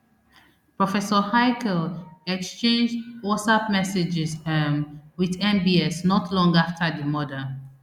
professor haykel exchange whatsapp messages um wit mbs not long afta di murder